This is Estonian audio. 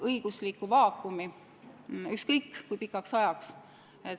– õigusliku vaakumi ükskõik kui pikaks ajaks.